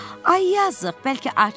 Ay yazıq, bəlkə acsan?